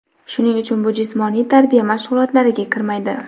Shuning uchun bu jismoniy tarbiya mashg‘ulotlariga kirmaydi.